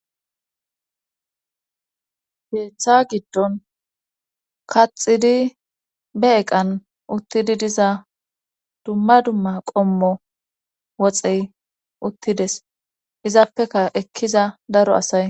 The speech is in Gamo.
Heeththa giddon kaxidi be eqan uttidi diza dumma dumma qommo woxey uttides izaappeka ekkiza daro asay.